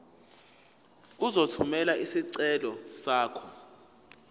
uzothumela isicelo sakho